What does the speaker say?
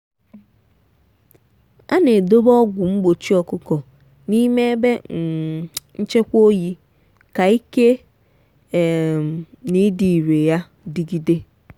a na-edobe ọgwụ mgbochi ọkụkọ n'ime ebe um nchekwa oyi ka ike um na ịdị irè ya dịgide.